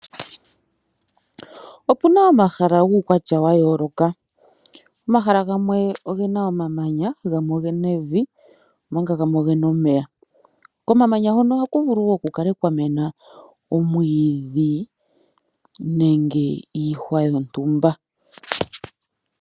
Opu na omahala guukwatya wa yooloka, omahala gamwe oge na omamanya, gamwe oge na evi, omanga gamwe oge na omeya. Komamanya hoka oha kuvulu wo ku kale kwa mena omwiidhi nenge iihwa yontumba.